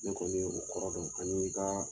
Ne kɔni ye o kɔrɔ dɔn ani n ka